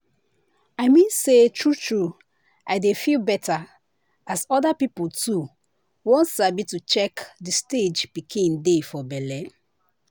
i mean say true true i dey feel better as other people too won sabi to check the stage pikin dey for belle.